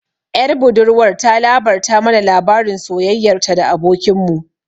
Ƴar budurwar ta labarta mana labarin soyayyar ta da abokin mu